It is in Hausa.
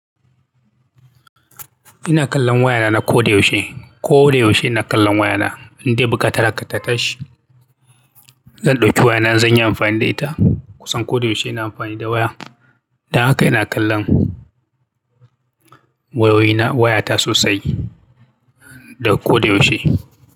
Ina kallon wayana na ko da yaushe. Ko da yaushe ina kallon wayana indai muka tara kata tashi. Zan ɗauki wayana zan yi amfani da ita. Kusan ko da yaushe ina amfani da waya. Don haka ina kallon wayoyina, wayata sosai da ko da yaushe.